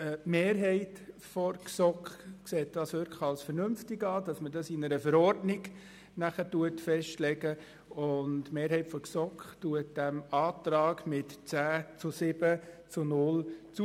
Die Mehrheit der GSoK erachtet es als vernünftig, dass man das in einer Verordnung festlegt und stimmt diesem Antrag mit 10 zu 7 Stimmen bei 0 Enthaltungen zu.